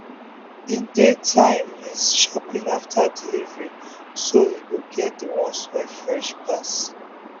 him dey time him shopping after delivery so him go get the ones wey fresh pass.